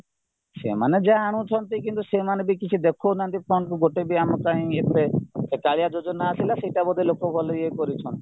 ସେମାନେ ଜାଣୁଛନ୍ତି କିନ୍ତୁ ସେମାନେବି କିଛି ଦେଖଉ ନାହାନ୍ତି fund କୁ ଗୋଟେ ବି ଆମ ପାଇଁ ଏବେ ସେ କାଳିଆ ଯୋଜନା ଆସିଲା ସେଇଟା ଲୋକ ଗଲେ ଇୟେ କରୁଛନ୍ତି